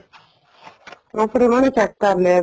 proper ਉਹਨਾ ਨੇ check ਕਰ ਲਿਆ